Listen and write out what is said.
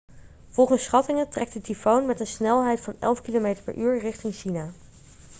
volgens schattingen trekt de tyfoon met een snelheid van 11 km/u richting china